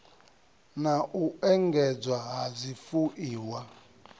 na u endedzwa ha zwifuiwa